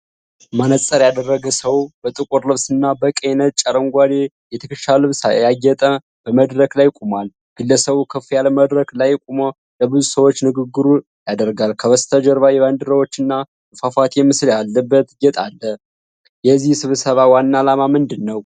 መነፅር ያደረገ ሰው በጥቁር ልብስና በቀይ-ነጭ-አረንጓዴ የትከሻ ልብስ አጌጦ በመድረክ ላይ ቆሟል። ግለሰቡ ከፍ ያለ መድረክ ላይ ቆሞ ለብዙ ሰዎች ንግግር ያደርጋል። ከበስተጀርባ የባንዲራዎችና የፏፏቴ ምስል ያለበት ጌጥ አለ። የዚህ ስብሰባ ዋና አላማ ምንድን ነው?